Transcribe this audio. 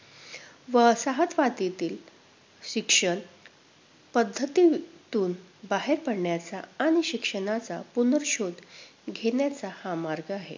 वसाहतवादातील शिक्षण पद्धतींतून बाहेर पडण्याचा आणि शिक्षणाचा पुनर्शोध घेण्याचा हा मार्ग आहे.